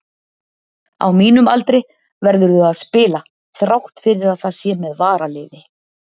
Á mínum aldri verðurðu að spila, þrátt fyrir að það sé með varaliði.